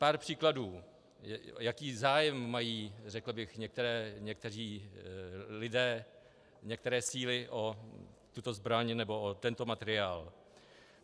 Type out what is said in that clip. Pár příkladů, jaký zájem mají, řekl bych, někteří lidé, některé síly o tuto zbraň nebo o tento materiál.